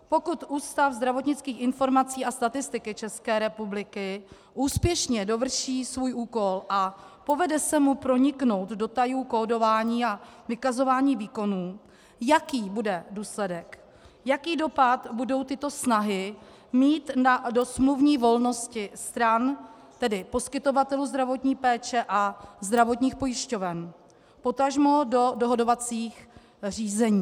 Pokud Ústav zdravotnických informací a statistiky České republiky úspěšně dovrší svůj úkol a povede se mu proniknout do tajů kódování a vykazování výkonů, jaký bude důsledek, jaký dopad budou tyto snahy mít do smluvní volnosti stran, tedy poskytovatelů zdravotní péče a zdravotních pojišťoven, potažmo do dohodovacích řízení.